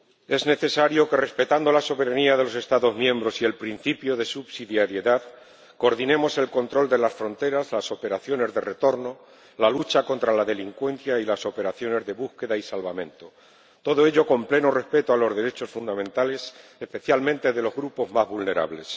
Es necesario que, respetando la soberanía de los Estados miembros y el principio de subsidiariedad, coordinemos el control de las fronteras, las operaciones de retorno, la lucha contra la delincuencia y las operaciones de búsqueda y salvamento, todo ello con pleno respeto de los derechos fundamentales, especialmente de los grupos más vulnerables.